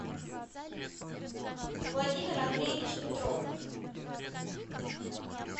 владимир андреевич петров